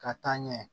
Ka taa ɲɛ